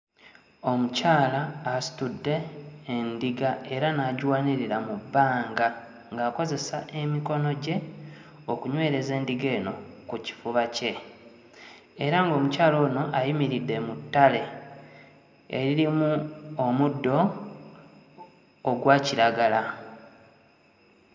Omukyala asitudde endiga era n'agiwanirira mu bbanga ng'akozesa emikono gye okunywereza endiga eno ku kifuba kye. Era ng'omukyala ono ayimiridde mu ttale eririmu omuddo ogwa kiragala.